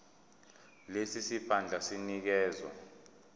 lesi siphandla sinikezwa